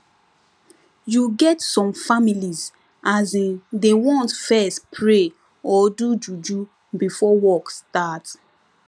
you get some families asin dey want fess pray or do juju before work start